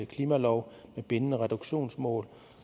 klimalov med bindende reduktionsmål